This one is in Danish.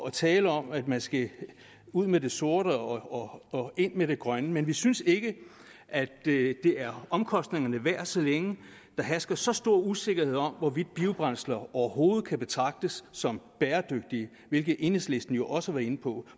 at tale om at man skal ud med det sorte og ind med det grønne men vi synes ikke at det er omkostningerne værd så længe der hersker så stor usikkerhed om hvorvidt biobrændsler overhovedet kan betragtes som bæredygtige hvilket enhedslisten jo også var inde på